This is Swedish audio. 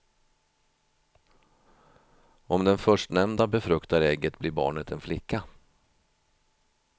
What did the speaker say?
Om den förstnämnda befruktar ägget blir barnet en flicka.